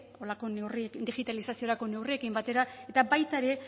digitalizaziorako neurrirekin batera eta baita ere